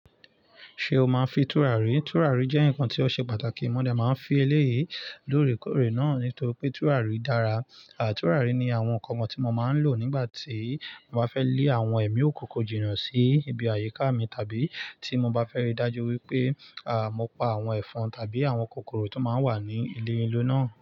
Ṣé o máa ń fi tùràrí? Tùràrí jẹ́ nǹkan tí ó ṣe pàtàkì. Mo dè máa ń fi eléyìí lóore kóòrè náà nítorí pé tùràrí dára. Àà, tùràrí ni àwọn nǹkan kan tí mo máa ń lò nígbà tí mo bá fẹ́ lé àwọn ẹ̀mí òkunkun jìnnà sí ibi àyíká mi, tàbí tí mo bá fẹ́ rí dájú wípé, àà, mo pa àwọn ẹ̀fọn tàbí àwọn kòkòrò tó máa ń wà ní ilé ilé náà.